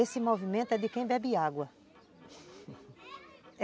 Esse movimento é de quem bebe água.